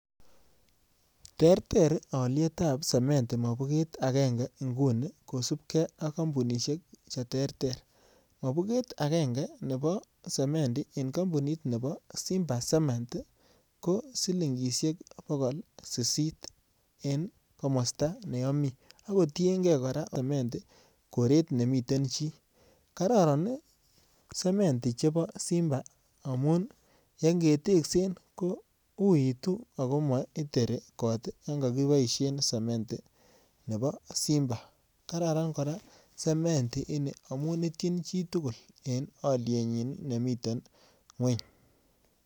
Terter alyetab sementi mobuget agenge inguni kosupgei ak kampunishek che terter. Mobuget agenge nepo sementi en kampunit nepo Simba Cement ko silingishek pokol sisit en komasta ne ami. Ako tiengei kora sementi koret ne miten chi. Kararan sementi chepon Simba amu ngeteksen ko uitu ako ma iteri kot yan kakipaishe sementi nepo Simba. Kararan kora sementi ini amu itchin chi tugul en alyetnyi nemiten ng'weny.